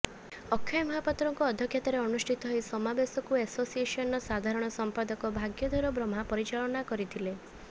ଅକ୍ଷୟ ମହାପାତ୍ରଙ୍କ ଅଧ୍ୟକ୍ଷତାରେ ଅନୁଷ୍ଠିତ ଏହି ସମାବେଶକୁ ଏସୋସିଏସନର ସାଧାରଣ ସମ୍ପାଦକ ଭାଗ୍ୟଧର ବ୍ରହ୍ମା ପରିଚାଳନା କରିଥିଲେ